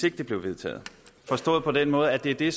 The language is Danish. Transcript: ikke blev vedtaget forstået på den måde at det er det